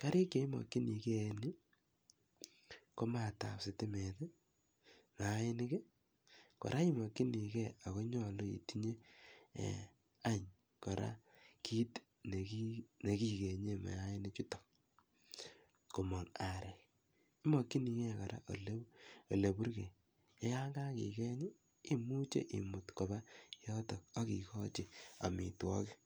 Kariik che imakchinigei eng' yu ko maat ap sitimet i ak maainik. Kora imakchinigei ako nyalu itinye any kiit ne kikenye mayanichutok komang' areek. Imakchinigei kora ole purgei, ye yan kakikeny i, imuchi imut kopa yotok amitwogiik.